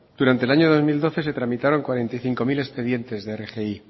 durante el año dos mil doce se tramitaron cuarenta y cinco mil expedientes de rgi